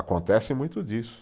Acontece muito disso.